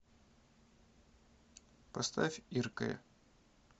поставь иркэ